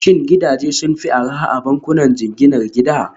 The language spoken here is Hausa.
Shin gidaje sun fi arha a bankunan jinginar gida?